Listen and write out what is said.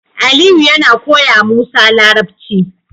Aliyu yAna koyawa musa larabci